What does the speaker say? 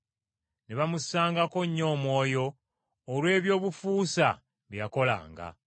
Ne bamussangako nnyo omwoyo olw’ebyobufuusa bye yakolanga.